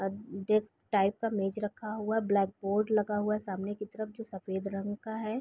Type का मेज़ रखा हुआ ब्लैक बोर्ड लगा हुआ है सामने की तरफ जो सफ़ेद रंग का हैं ।